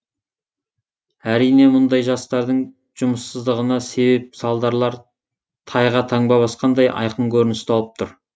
әрине бұндай жастардың жұмыссыздығына себеп салдарлар тайға таңба басқандай айқын көрініс тауып тұр